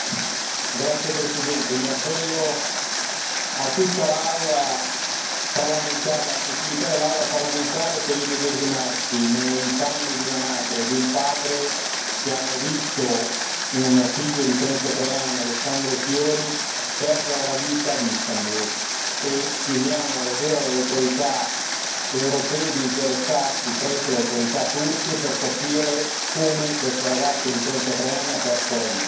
Signor Presidente, onorevoli colleghi, mi appello a tutta la sensibilità dell'Aula parlamentare per immedesimarsi nei panni di una madre e di un padre che hanno visto un figlio di 33 anni, Alessandro Fiori, perdere la vita ad Istanbul e chiediamo davvero alle autorità europee di interessarsi presso le autorità turche per capire come questo ragazzo di trentatré anni ha perso la vita.